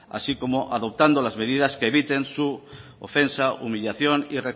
así como adoptando las medidas que eviten su ofensa humillación y